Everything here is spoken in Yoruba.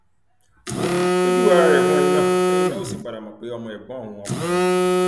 ó júwe ara rẹ fún ẹni náà ẹni náà ó sì padà mọ pé ọmọ ẹgbọn òun ọkùnrin ni